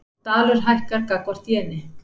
Dalur hækkar gagnvart jeni